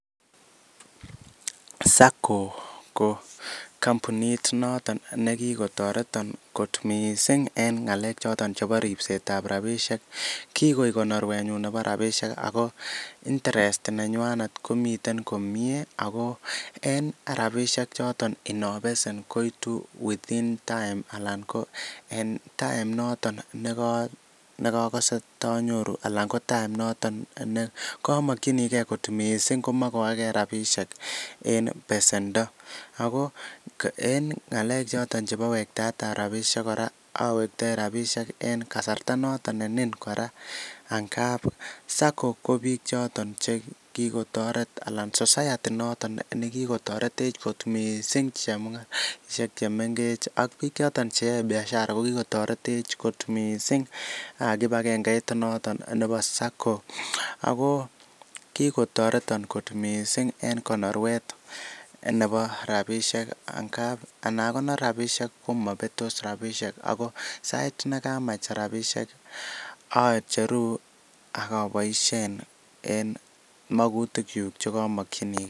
sacco ko kambunit noton negigotoreton kot mising en ngaleek choton chebo ribseet ab rabishek, kigoek konorweet nyuun nebo rabishek amuun interest nenywanet komiten komyee ago en rabishek choton nobesen koitu within time en time noton negokose tonyoru alan ko time ,noton negomokyinigee kot mising mogoegee rabishek en besendo, ago en ngaleek choton chebo wektaet ab rabishek koraa owektoi rabishek en kasarta noton nenin koraa angaab sacco ko biik choton chekikotoret anan society noton negikotoretech kot mising chemungaraishek chemengech ak biik mchoton cheyoe biashara ak kibagengeit noton nebo sacco, ago kiikotoreton mising en konorweet nebo rabishek, anagonor rabishek komobetos rabishek, ago sait negamach rabishek ocheruu ak oboishen en mokotuk chuuk chegomokyinige.